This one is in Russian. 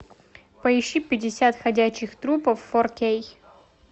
поищи пятьдесят ходячих трупов фор кей